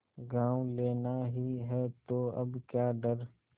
गॉँव लेना ही है तो अब क्या डर